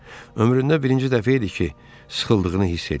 Ömründə birinci dəfə idi ki, sıxıldığını hiss eləyirdi.